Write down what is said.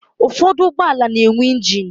Ụfọdụ ụgbọala na-enwe ịnjin